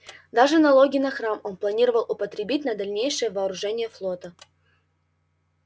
даже налоги на храм он планировал употребить на дальнейшее вооружение флота